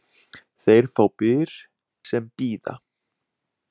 Þeir fá byr sem bíða.